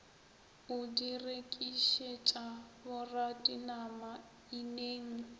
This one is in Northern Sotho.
o di rekišetša boradinama ineng